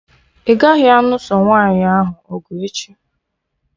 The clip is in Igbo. Ị gaghị anụso nwaanyị ahụ ọgụ echi!